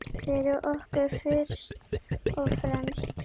Fyrir okkur fyrst og fremst.